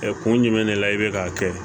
kun jumɛn de la i bɛ k'a kɛ